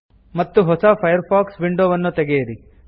ಮತ್ತು ಹೊಸ ಫೈರ್ಫಾಕ್ಸ್ ವಿಂಡೊವನ್ನು ತೆಗೆಯಿರಿ